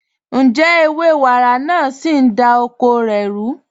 Ǹjẹ̀ ẹwẹ̀ wàrá naà sí ń dá oko rẹ̀ rú?